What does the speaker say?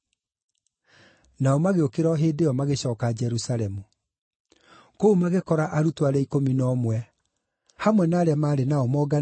Nao magĩũkĩra o hĩndĩ ĩyo magĩcooka Jerusalemu. Kũu magĩkora arutwo arĩa ikũmi na ũmwe, hamwe na arĩa maarĩ nao monganĩte,